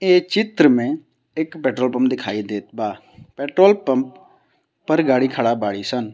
ए चित्र में एक पेट्रोल पंप दिखाई देत बा। पेट्रोल पंप पर गाड़ी खड़ा बाडी सन।